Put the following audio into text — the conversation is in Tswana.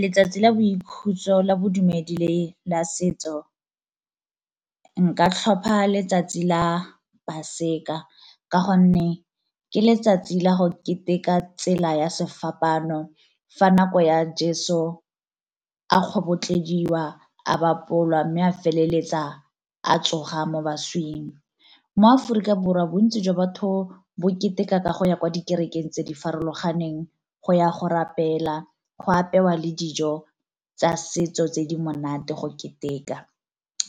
Letsatsi la boikhutso la bodumedi le la setso nka tlhopha letsatsi la paseka ka gonne ke letsatsi la go keteka tsela ya sefapaano fa nako ya Jeso a kgobotlediwa a bapolwa, mme a feleletsa a tsoga mo baswing. Mo Aforika Borwa bontsi jwa batho bo keteka ka go ya kwa dikerekeng tse di farologaneng go ya go rapela go apewa le dijo tsa setso tse di monate go keteka